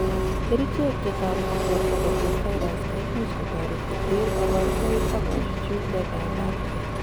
kerichek chetoreti borto koter virus koimuch Kotoret koter kaborunoik ak kochuchuch letaetabgei